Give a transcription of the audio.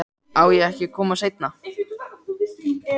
Á ég ekki að koma seinna?